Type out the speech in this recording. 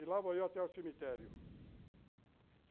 E lá vou eu até o cemitério.